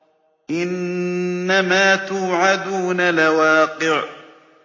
إِنَّمَا تُوعَدُونَ لَوَاقِعٌ